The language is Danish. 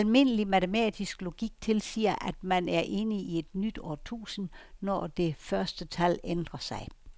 Almindelig matematisk logik tilsiger, at man er inde i et nyt årtusind, når det første tal ændrer sig.